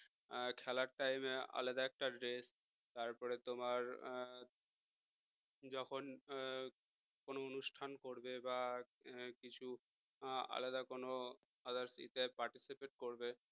হম খেলার time এ আলাদা একটা dress তারপরে তোমার যখন কোন অনুষ্ঠান করবে বা কিছু আলাদা কোনো others এ participate করবে